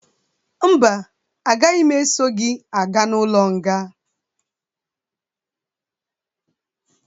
Mba, agaghi m esọ gị aga n'ụlo nga